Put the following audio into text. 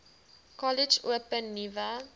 kollege open nuwe